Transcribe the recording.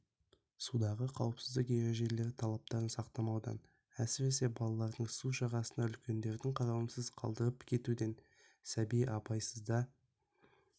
судағы қауіпсіздік ережелері талаптарын сақтамаудан әсіресе балаларды су жағасына үлкендердің қарауынсыз қалдырып кетуінен сәби абайсызда